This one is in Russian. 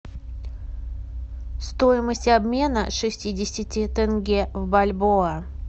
стоимость обмена шестидесяти тенге в бальбоа